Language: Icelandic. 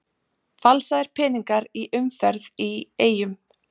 Falsaðir peningar í umferð í Eyjum